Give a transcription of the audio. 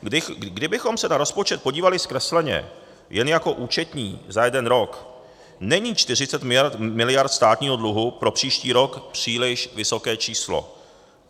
Kdybychom se na rozpočet podívali zkresleně jen jako účetní za jeden rok, není 40 mld. státního dluhu pro příští rok příliš vysoké číslo.